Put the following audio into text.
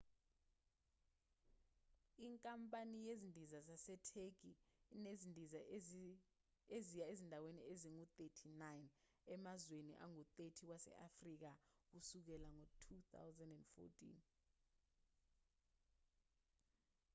inkampani yezindiza yasetheki inezindiza eziya ezindaweni ezingu-39 emazweni angu-30 wase-afrika kusukela ngo-2014